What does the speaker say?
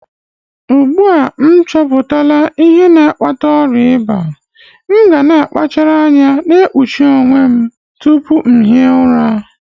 Ugbu a m chọpụtala m ihe na-akpata ọrịa ịba, m ga-akpachara anya na-ekpuchi onwe m nke ọma tupu m hie ụra.